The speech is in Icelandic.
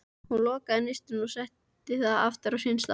Hún lokaði nistinu og setti það aftur á sinn stað.